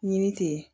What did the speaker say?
Ɲini ten